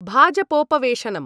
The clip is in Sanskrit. भाजपोपवेशनम्